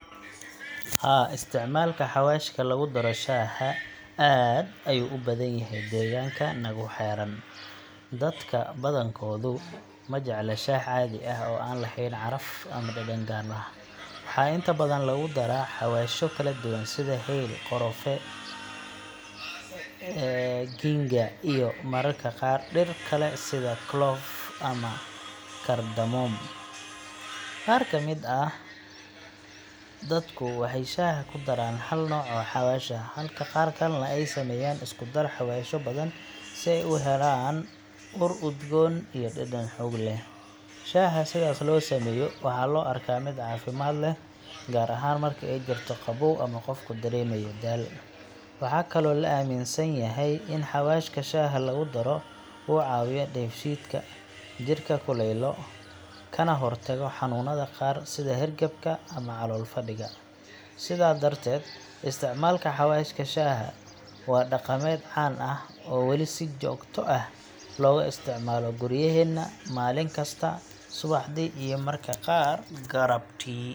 Haa, isticmaalka xawaashka lagu daro shaaha aad ayuu u badan yahay deegaanka nagu xeeran. Dadka badankoodu ma jecla shaah caadi ah oo aan lahayn caraf ama dhadhan gaar ah. Waxaa inta badan lagu daraa xawaashyo kala duwan sida hayl, qorfe, ginger, iyo mararka qaar dhir kale sida clovecs] ama cardamom. Qaar ka mid ah dadku waxay shaaha ku daraan hal nooc oo xawaash ah, halka qaar kalena ay sameeyaan isku dar xawaashyo badan si ay u helaan ur udgoon iyo dhadhan xoog leh. Shaaha sidaas loo sameeyo waxaa loo arkaa mid caafimaad leh, gaar ahaan marka ay jirto qabow ama qofku dareemayo daal. Waxaa kaloo la aaminsan yahay in xawaashka shaaha lagu daro uu caawiyo dheefshiidka, jirka kululeeyo, kana hortago xanuunada qaar sida hargabka ama calool-fadhiga. Sidaa darteed, isticmaalka xawaashka shaaha waa dhaqameed caan ah oo weli si joogto ah looga isticmaalo guryaheena, maalin kasta subaxdii iyo mararka qaar galabtii.